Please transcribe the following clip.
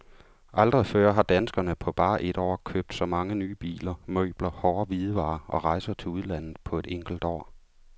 Aldrig før har danskerne på bare et år købt så mange nye biler, møbler, hårde hvidevarer og rejser til udlandet på et enkelt år.